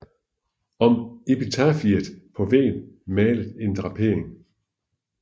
Om epitafiet er på væggen malet en drapering